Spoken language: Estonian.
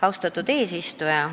Austatud eesistuja!